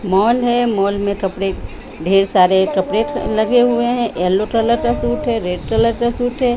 Mall है mall में कपड़े ढेर सारे कपड़े लगे हुए हैं येलो कलर का सूट है रेड कलर का सूट है।